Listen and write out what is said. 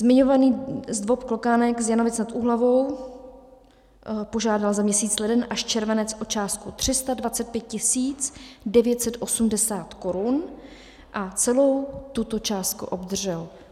Zmiňovaný ZDVOP Klokánek z Janovic nad Úhlavou požádal za měsíc leden až červenec o částku 325 980 Kč a celou tuto částku obdržel.